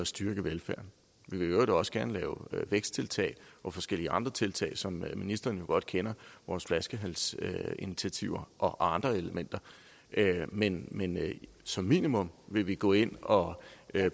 styrke velfærden vi vil i øvrigt også gerne lave væksttiltag og forskellige andre tiltag som ministeren jo godt kender vores flaskehalsinitiativer og andre elementer men men som minimum vil vi gå ind og